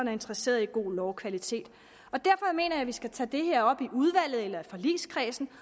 er interesseret i god lovkvalitet derfor mener jeg at vi skal tage det her op i udvalget eller i forligskredsen